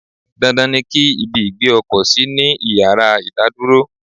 Dandan ni ki ibi ìgbé ọkọ̀ sí ní ìyára ìdádúró.